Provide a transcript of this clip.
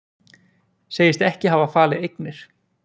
Segist ekki hafa falið eignir